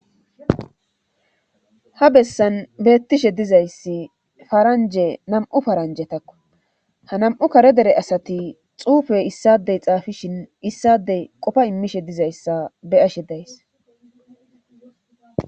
ha bessan beettishe dizayssi faranje nam7u faranje takko ha nam7u kare dere asati xuufe issadey xaafishin issadey qofa immishe dizayssa be ashe days